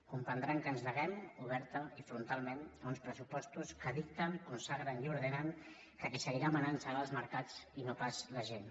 comprendran que ens neguem obertament i frontalment a uns pressupostos que dicten consagren i ordenen que qui seguirà manant seran els mercats i no pas la gent